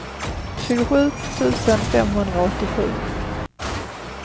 tjugosju tusen femhundraåttiosju